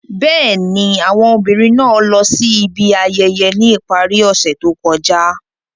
Bẹ́ẹ̀ni, awọn obinrin naa lọ si ibi ayẹyẹ ni ipari ose to kọja.